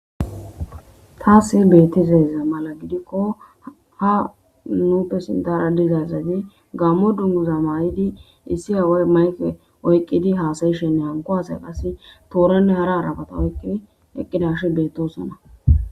Taasse bettiseza mala gidikko ha nuupe sindara dizayzati gammo dunguza mayidi issi hawoy mayke oyqqidi haasayishenne hanko hasaya qase tooranne hara arafata oyqqidi eqqidash bettosona.